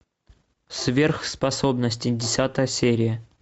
сверхспособности десятая серия